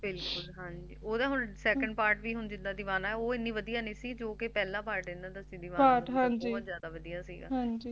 ਹਾਂਜੀ ਓਹਦਾ ਹੁਣ Second part ਵੀ ਹੁਣ ਜਿੱਦਾ ਦੀਵਾਨਾ ਹੈ ਓਹ ਇੰਨੀ ਵਦੀਆ ਨਹੀ ਸੀ ਜੌ ਕਿ ਪਹਿਲਾਂ Part ਸੀ Deewana ਬਹੁਤ ਜਾਦਾ ਵਦੀਆ ਸੀਗਾ